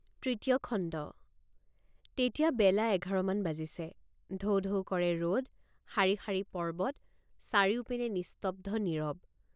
তৃতীয় খণ্ড তেতিয়া বেলা এঘাৰ মান বাজিছে টৌ টৌ কৰে ৰদ শাৰী শাৰী পৰ্বত চাৰিওপিনে নিস্তব্ধ নীৰৱ।